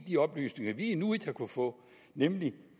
de oplysninger vi nu ikke har kunnet få nemlig